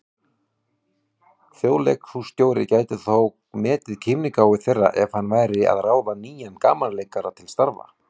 Þjóðleikhússtjóri gæti þó metið kímnigáfu þeirra ef hann væri að ráða nýjan gamanleikara til starfa.